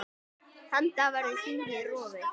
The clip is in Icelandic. Þann dag verður þingið rofið.